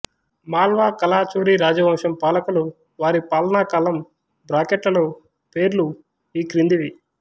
మాళ్వా కలాచురి రాజవంశం పాలకులు వారి పాలనాకాలం బ్రాకెట్లలో పేర్లు ఈ క్రిందివి